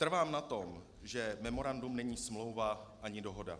Trvám na tom, že memorandum není smlouva ani dohoda.